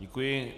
Děkuji.